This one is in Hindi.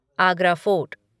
आगरा फ़ोर्ट